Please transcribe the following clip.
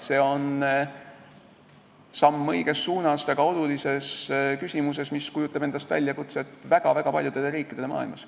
See on samm õiges suunas väga olulises küsimuses, mis kujutab endast väljakutset väga-väga paljudele riikidele maailmas.